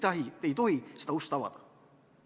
Me ei tohi seda ust avada.